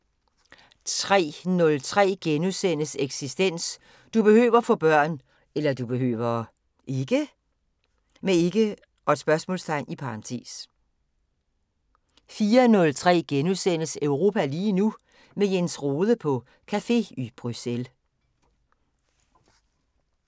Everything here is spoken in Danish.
03:03: Eksistens: Du behøver (ikke?) få børn * 04:03: Europa lige nu: Med Jens Rohde på café i Bruxelles *